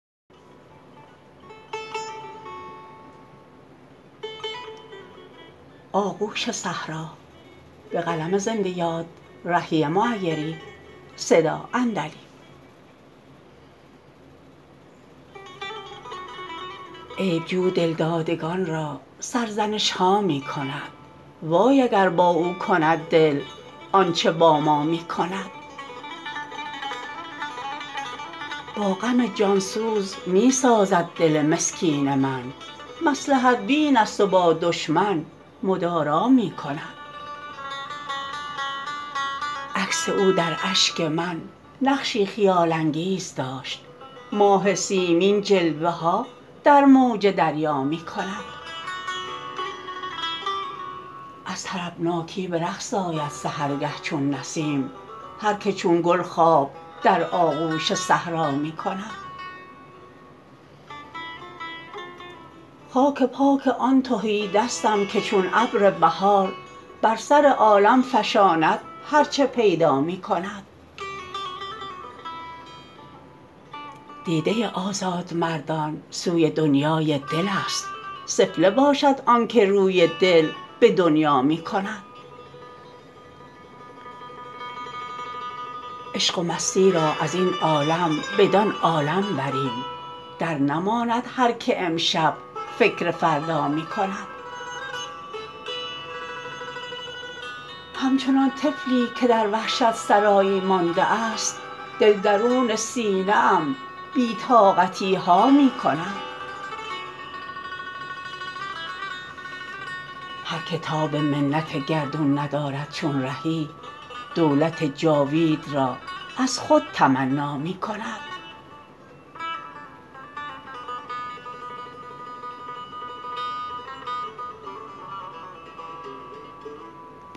عیب جو دلدادگان را سرزنش ها می کند وای اگر با او کند دل آنچه با ما می کند با غم جان سوز می سازد دل مسکین من مصلحت بین است و با دشمن مدارا می کند عکس او در اشک من نقشی خیال انگیز داشت ماه سیمین جلوه ها در موج دریا می کند از طربناکی به رقص آید سحرگه چون نسیم هرکه چون گل خواب در آغوش صحرا می کند خاک پای آن تهیدستم که چون ابر بهار بر سر عالم فشاند هرچه پیدا می کند دیده آزادمردان سوی دنیای دل است سفله باشد آنکه روی دل به دنیا می کند عشق و مستی را از این عالم بدان عالم بریم درنماند هرکه امشب فکر فردا می کند همچنان طفلی که در وحشت سرایی مانده است دل درون سینه ام بی طاقتی ها می کند هرکه تاب منت گردون ندارد چون رهی دولت جاوید را از خود تمنا می کند